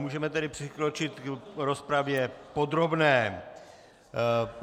Můžeme tedy přikročit k rozpravě podrobné.